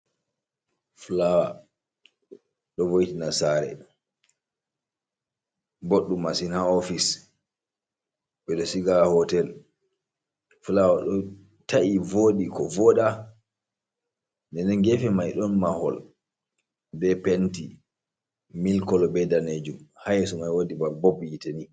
"fulaawa"do vo’itina saare boɗɗum masin ha ofis ɓeɗo siga ha hotel fulaawa ɗo ta’i vodi ko voda nden gefe mai ɗon mahol be penti mil kolo be danejum ha yeso mai waɗi bob yite ni.